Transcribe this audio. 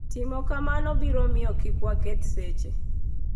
Timo kamano biro miyo kik waketh seche.